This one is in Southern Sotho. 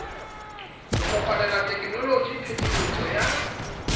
ho kopanela tekenoloji phetisetso ya